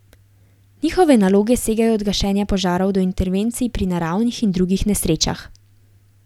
Njihove naloge segajo od gašenja požarov do intervencij pri naravnih in drugih nesrečah.